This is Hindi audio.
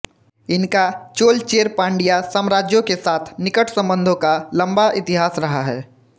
इनका चोलचेरपांडिया साम्राज्यों के साथ निकट संबंधों का लंबा इतिहास रहा है